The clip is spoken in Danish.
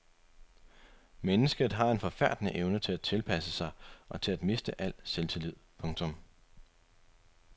Mennesket har en forfærdende evne til at tilpasse sig og til at miste al selvtillid. punktum